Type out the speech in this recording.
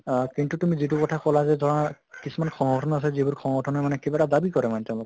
হয় কিন্তু তুমি যিটো কথা কলা যে ধৰা কিছুমান সংগঠন আছে যিবোৰ সংগঠনে মানে কিবা এটা দাবি কৰে মানে তেওঁলোকে